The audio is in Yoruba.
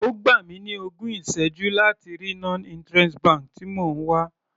Ó gbà mi ní ogún ìsẹ́jú láti rí non interest bank tí mò ń wá.